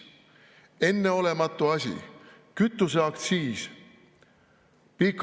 Enneolematu asi – kütuseaktsiis!